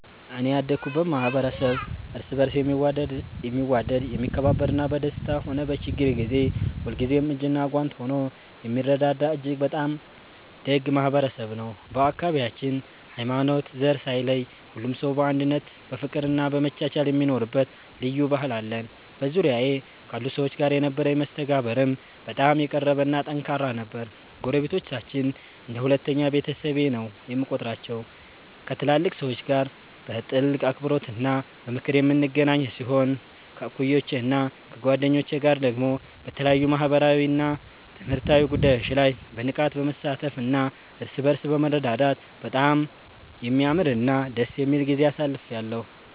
እኔ ያደኩበት ማኅበረሰብ እርስ በርስ የሚዋደድ፣ የሚከባበርና በደስታም ሆነ በችግር ጊዜ ሁልጊዜም እጅና ጓንት ሆኖ የሚረዳዳ እጅግ በጣም ደግ ማኅበረሰብ ነው። በአካባቢያችን ሃይማኖትና ዘር ሳይለይ ሁሉም ሰው በአንድነት በፍቅርና በመቻቻል የሚኖርበት ልዩ ባህል አለን። በዙሪያዬ ካሉ ሰዎች ጋር የነበረኝ መስተጋብርም በጣም የቀረበና ጠንካራ ነበር። ጎረቤቶቻችንን እንደ ሁለተኛ ቤተሰቤ ነው የምቆጥራቸው፤ ከትላልቅ ሰዎች ጋር በጥልቅ አክብሮትና በምክር የምንገናኝ ሲሆን፣ ከእኩዮቼና ከጓደኞቼ ጋር ደግሞ በተለያዩ ማኅበራዊና ትምህርታዊ ጉዳዮች ላይ በንቃት በመሳተፍና እርስ በርስ በመረዳዳት በጣም የሚያምርና ደስ የሚል ጊዜ አሳልፌአለሁ።